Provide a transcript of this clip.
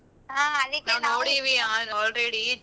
ಹ ಅದಕ್ಕೆ